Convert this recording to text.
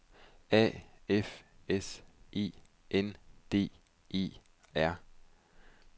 A F S E N D E R